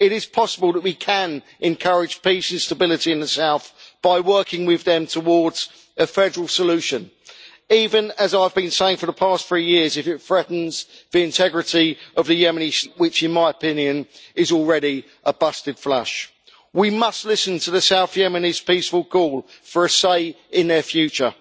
It is possible that we can encourage peace and stability in the south by working with them towards a federal solution, even as I've been saying for the past three years if it threatens the integrity of the Yemeni state, which in my opinion is already a busted flush. We must listen to the south Yemenis' peaceful call for a say in their future.